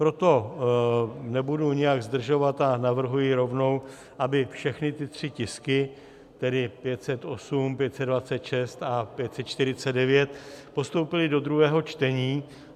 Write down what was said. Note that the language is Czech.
Proto nebudu nijak zdržovat a navrhuji rovnou, aby všechny ty tři tisky, tedy 508, 526 a 549, postoupily do druhého čtení.